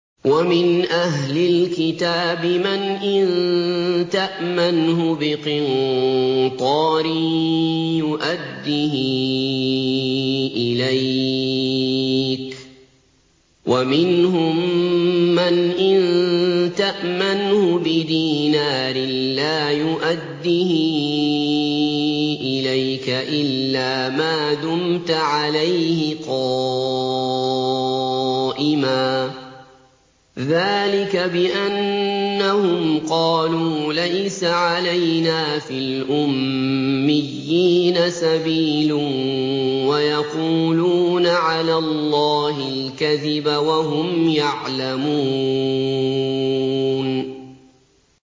۞ وَمِنْ أَهْلِ الْكِتَابِ مَنْ إِن تَأْمَنْهُ بِقِنطَارٍ يُؤَدِّهِ إِلَيْكَ وَمِنْهُم مَّنْ إِن تَأْمَنْهُ بِدِينَارٍ لَّا يُؤَدِّهِ إِلَيْكَ إِلَّا مَا دُمْتَ عَلَيْهِ قَائِمًا ۗ ذَٰلِكَ بِأَنَّهُمْ قَالُوا لَيْسَ عَلَيْنَا فِي الْأُمِّيِّينَ سَبِيلٌ وَيَقُولُونَ عَلَى اللَّهِ الْكَذِبَ وَهُمْ يَعْلَمُونَ